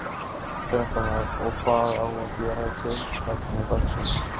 Fréttamaður: Og hvað á að gera í tilefni dagsins?